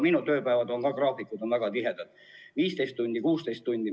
Minu tööpäevad, graafikud on väga tihedad, 15–16 tundi.